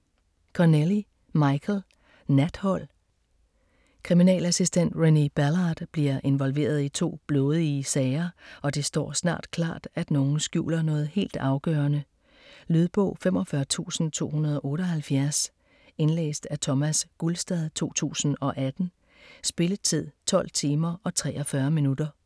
Connelly, Michael: Nathold Kriminalassistent Renée Ballard bliver involveret i to blodige sager, og det står snart klart, at nogen skjuler noget helt afgørende. Lydbog 45278 Indlæst af Thomas Gulstad, 2018. Spilletid: 12 timer, 43 minutter.